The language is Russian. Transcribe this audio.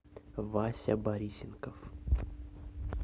вася борисенков